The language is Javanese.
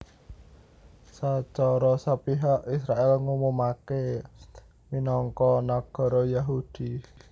Sacara sepihak Israèl ngumumaké minangka nagara Yahudi